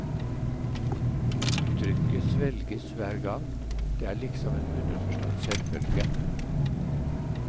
Uttrykket svelges hver gang, det er liksom en underforstått selvfølge.